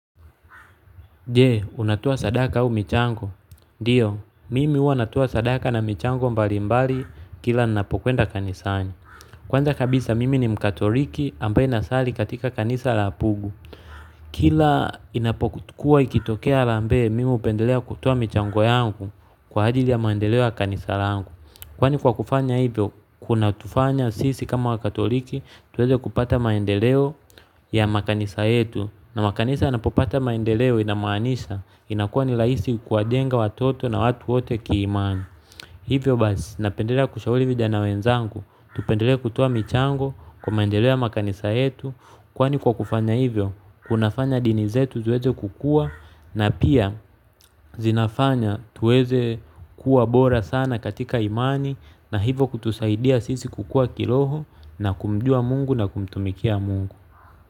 Je, unatoa sadaka au michango? Ndio, mimi huwa natoa sadaka na michango mbalimbali kila ninapokwenda kanisani. Kwanza kabisa mimi ni mkatoliki ambaye nasali katika kanisa la pugu. Kila inapokuwa ikitokea harambee, mimi hupendelea kutoa michango yangu kwa ajili ya maendeleo ya kanisa langu. Kwani kwa kufanya hivyo, kunatufanya sisi kama wakatoliki, tuweze kupata maendeleo ya makanisa yetu. Na makanisa yanapopata maendeleo inamaanisha inakuwa ni rahisi kuwajenga watoto na watu wote kiimani hivyo basi napendelea kushauri vijana wenzangu tupendelee kutoa michango kwa maendeleo ya makanisa yetu kwani kwa kufanya hivyo kunafanya dini zetu ziweze kukuwa na pia zinafanya tuweze kuwa bora sana katika imani na hivyo kutusaidia sisi kukua kiroho na kumjua mungu na kumtumikia mungu.